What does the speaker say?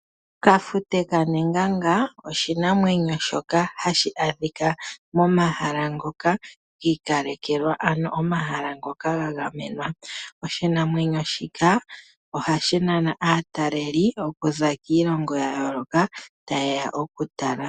Kafute kanengenga oshinamwenyo shoka hashi adhika momahala ngoka giikalekelwa, ano omahala ngoka ga gamenwa. Oshinamwenyo shika ohashi nana aataleli okuza kiilongo ya yooloka, tayeya okutala.